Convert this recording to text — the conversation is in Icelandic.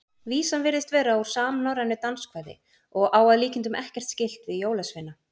Vísan virðist vera úr samnorrænu danskvæði og á að líkindum ekkert skylt við jólasveina.